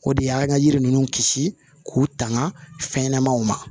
O de ye an ka yiri ninnu kisi k'u tanga fɛn ɲɛnɛmaw ma